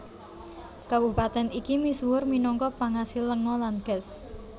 Kabupatèn iki misuwur minangka pangasil lenga lan gas